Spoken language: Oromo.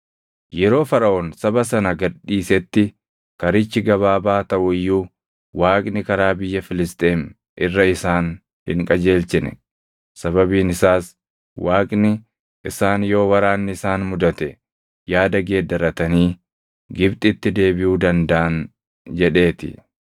Yeroo Faraʼoon saba sana gad dhiisetti karichi gabaabaa taʼu iyyuu Waaqni karaa biyya Filisxeem irra isaan hin qajeelchine; sababiin isaas Waaqni, “Isaan yoo waraanni isaan mudate yaada geeddarratanii Gibxitti deebiʼuu dandaʼan” jedhee ti.